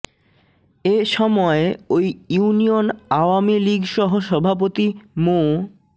এ সময় ওই ইউনিয়ন আওয়ামী লীগ সহ সভাপতি মো